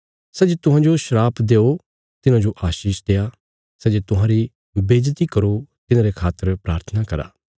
सै जे तुहांजो शराप देओ तिन्हाजो आशीष देआ सै जे तुहांरी बेईज्जति करो तिन्हारे खातर प्राथना करा